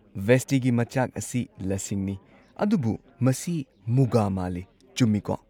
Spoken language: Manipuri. ꯚꯦꯁꯇꯤꯒꯤ ꯃꯆꯥꯛ ꯑꯁꯤ ꯂꯁꯤꯡꯅꯤ, ꯑꯗꯨꯕꯨ ꯃꯁꯤ ꯃꯨꯒꯥ ꯃꯥꯜꯂꯤ, ꯆꯨꯝꯃꯤꯀꯣ?